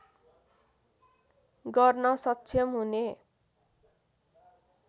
गर्न सक्षम हुने